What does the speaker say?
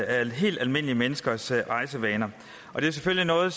af helt almindelige menneskers rejsevaner det er selvfølgelig noget